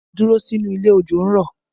Dúró sínú ilé! Òjò ń rọ̀!